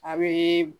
A bɛ